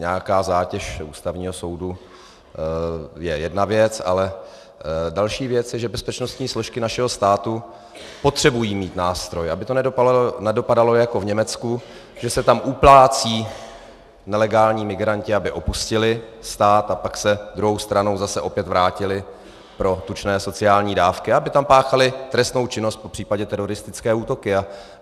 Nějaká zátěž Ústavního soudu je jedna věc, ale další věc je, že bezpečnostní složky našeho státu potřebují mít nástroj, aby to nedopadalo jako v Německu, že se tam uplácí nelegální migranti, aby opustili stát, a pak se druhou stranou zase opět vrátili pro tučné sociální dávky a aby tam páchali trestnou činnost, popřípadě teroristické útoky.